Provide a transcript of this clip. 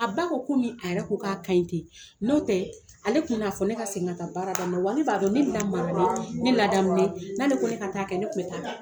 A ba ko komi a yɛrɛ ko k'a ɲi ka ten n'o tɛ ale tun'a fɔ ne ka segin ka baara daminɛ wa ne b'a dɔn ne ma n'ale ko ne ka taa kɛ ne tun bɛ t'a kɛ.